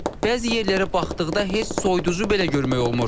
Bəzi yerlərə baxdıqda heç soyuducu belə görmək olmur.